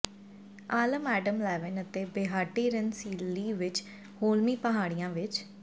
ਆਲਮ Adam Levine ਅਤੇ Behati ਰਨਸੀਲਲੀ ਵਿਚ ਹੋਲਮੀ ਪਹਾੜੀਆਂ ਵਿਚ